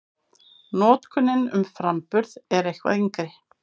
Notkunin um framburð er eitthvað yngri.